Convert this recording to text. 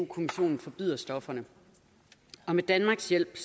kommissionen forbyder stofferne og med danmarks hjælp